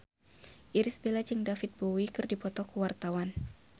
Irish Bella jeung David Bowie keur dipoto ku wartawan